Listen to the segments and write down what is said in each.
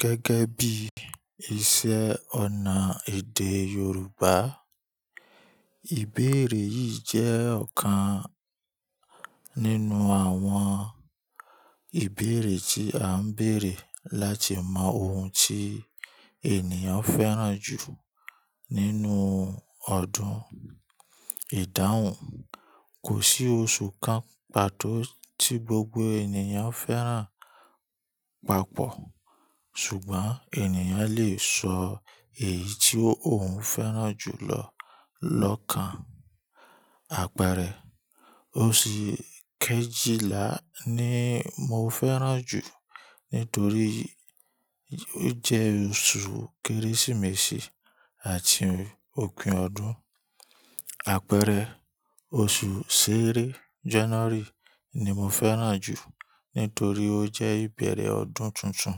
Gẹ́gẹ́ bí iṣẹ́-ọnà èdè Yorùbá, ìbéèrè yìí jẹ́ ọ̀kan nínú àwọn ìbéèrè tí à ń bèèrè láti mọ ohun tí ènìyàn fẹ́ràn jù nínú ọdún, ìdáhùn. Kò sí oṣù kan pàtó tí gbogbo ènìyàn fẹ́ràn papọ̀, ṣùgbọ́n ènìyàn lè sọ èyí tí òun fẹ́ràn jù lọ lọ́kan. Àpẹẹrẹ, oṣù Kejìlá ni mo fẹ́ràn jù nítorí ó jẹ́ oṣù Kérésìmesì àti òpin ọdún. Àpẹẹrẹ, oṣù ṣẹ́rẹ, January, ni mo fẹ́ràn jù nítorí ó jẹ́ ìbẹ̀rẹ̀ ọdún tuntun.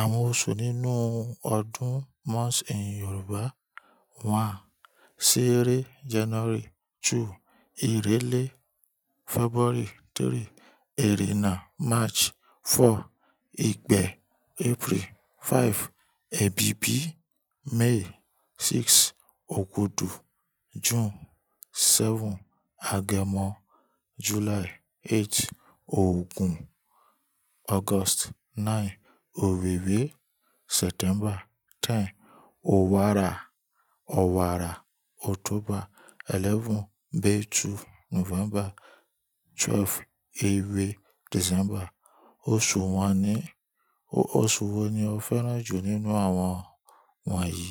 Àwọn oṣù nínú ọdún, months in Yorùbá: one, ṣẹ́rẹ, January; two, èrèlé, February; three, èrèná, March; four, ìgbè, April; five, èbìbí, May; six, ògudu, June; seven, agẹmọ, July; eight, òògùn, August nine, òwiwi, September; ten, owara. Òwàrà, October; eleven, bèétu, November; twelve, èèwé, December. Oṣù wan ni osu wo ni o fẹ́ràn jù nínú àwọn wọ̀nyí?